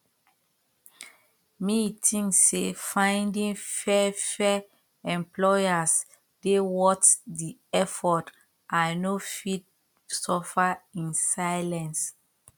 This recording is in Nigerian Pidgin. me think say finding fair fair employers dey worth di effort i no fit suffer in silence